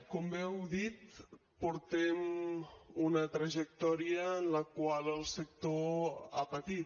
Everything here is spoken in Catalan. com bé heu dit portem una trajectòria en la qual el sector ha patit